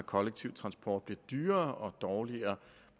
kollektiv transport bliver dyrere og dårligere